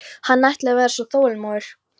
Hann ætlaði að vera svo þolinmóður.